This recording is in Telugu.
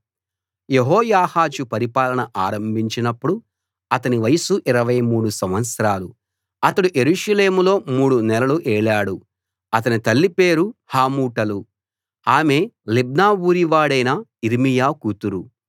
యెహోయాహాజు పరిపాలన ఆరంభించినప్పుడు అతని వయసు 23 సంవత్సరాలు అతడు యెరూషలేములో మూడు నెలలు ఏలాడు అతని తల్లి పేరు హమూటలు ఆమె లిబ్నా ఊరి వాడు యిర్మీయా కూతురు